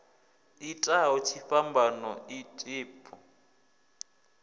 itaho tshifhambano a ḓi bvu